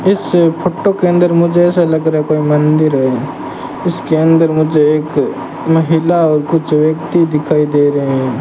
इससे फोटो के अंदर मुझे ऐसा लग रहा है कोई मंदिर है इसके अंदर मुझे एक महिला और कुछ व्यक्ति दिखाई दे रहे हैं।